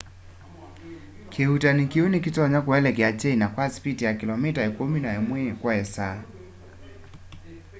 kiuutani kiu ni kitonya kuelekela china kwa sipiti ya kilomita ikumi na imwe kwa isaa